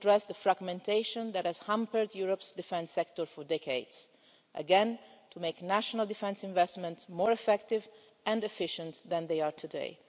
We want to address the fragmentation that has hampered Europe's defence sector for decades, again to make national defence investments more effective and efficient than they are today.